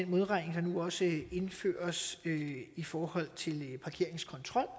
modregning der nu også indføres i forhold til parkeringskontrol